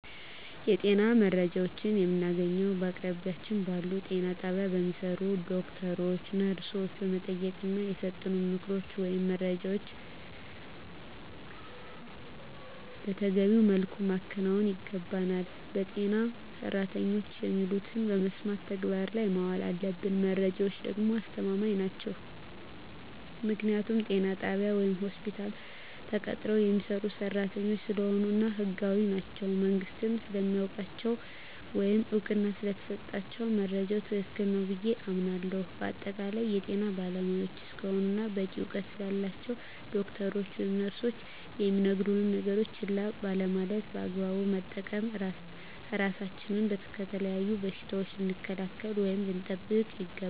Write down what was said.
የጤና መረጃዎችን የምናገኘዉ በአቅራቢያችን ባሉ ጤና ጣቢያ በሚሰሩ ዶክተሮችን ነርሶችን በመጠየቅና የሰጡንን ምክሮች ወይም መረጃዎችን መተገቢዉ መልኩ ማከናወን ይገባናል በጤና ሰራተኖች የሚሉትን በመስማት ተግባር ላይ ማዋል አለብን መረጃዎች ደግሞ አስተማማኝ ናቸዉ ምክንያቱም ጤና ጣቢያ ወይም ሆስፒታል ተቀጥረዉ የሚሰሩ ሰራተኞች ስለሆኑ እና ህጋዊም ናቸዉ መንግስትም ስለሚያዉቃቸዉ ወይም እዉቅና ስለተሰጣቸዉ መረጃዉ ትክክል ነዉ ብየ አምናለሁ በአጠቃላይ የጤና ባለሞያዎች እስከሆኑና በቂ እዉቀት ስላላቸዉ ዶክተሮች ወይም ነርሶች የሚነግሩነን ነገሮች ችላ ባለማለት በአግባቡ በመጠቀም ራሳችንን ከተለያዩ በሽታዎች ልንከላከል ወይም ልንጠብቅ ይገባል